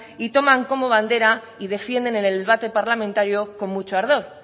y toman como bandera y defienden en el debate parlamentario con mucho ardor